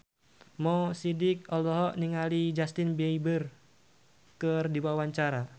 Mo Sidik olohok ningali Justin Beiber keur diwawancara